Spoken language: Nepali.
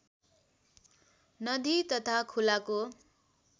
नदी तथा खोलाको